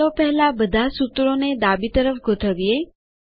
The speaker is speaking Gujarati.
ચાલો પહેલા બધા સૂત્રોને ડાબી તરફ ગોઠવીએ